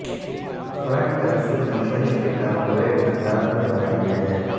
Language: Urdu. فرنٹ کنسول کمپنی کے کارپوریٹ انداز میں بنایا گیا ہے